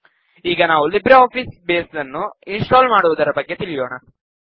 ಈಗ ನಾವು LibreOffice base ನ್ನು ಇನ್ ಸ್ಟಾಲ್ ಮಾಡುವುದರ ಬಗ್ಗೆ ತಿಳಿಯೋಣ